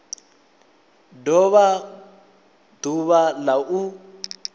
do vha ḓuvha la u